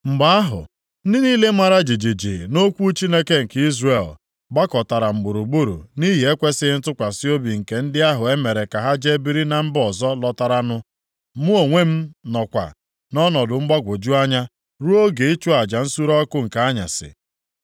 Mgbe ahụ, ndị niile mara jijiji nʼokwu Chineke nke Izrel, gbakọtara m gburugburu nʼihi ekwesighị ntụkwasị obi nke ndị ahụ e mere ka ha jee biri na mba ọzọ lọtaranụ. Mụ onwe m nọkwa nʼọnọdụ mgbagwoju anya ruo oge ịchụ aja nsure ọkụ nke anyasị.